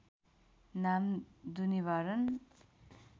नाम दुनिवारन